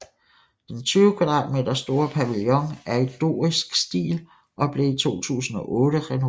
Den 20 m² store pavillon er i dorisk stil og blev i 2008 renoveret